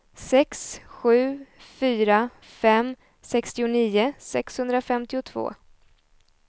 sex sju fyra fem sextionio sexhundrafemtiotvå